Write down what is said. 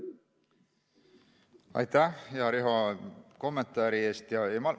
Aitäh, hea Riho, kommentaari eest!